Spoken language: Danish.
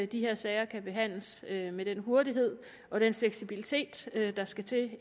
de her sager kan behandles med den hurtighed og den fleksibilitet der skal til